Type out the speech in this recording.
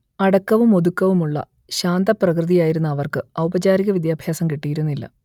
അടക്കവുമൊതുക്കവുമുള്ള ശാന്തപ്രകൃതിയായിരുന്ന അവർക്ക് ഔപചാരികവിദ്യാഭ്യാസം കിട്ടിയിരുന്നില്ല